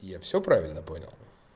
я всё правильно понял